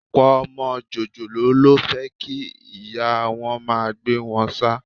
Ọ̀pọ̀ ọmọ jòjòló ló fẹ́ kí ìyá wọn máa gbé wọn ṣáá